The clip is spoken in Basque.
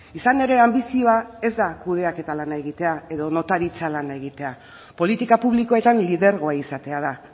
izan ere anbizioa ez da kudeaketa lana egitea edo notaritza lana egitea politika publikoetan lidergoa izatea da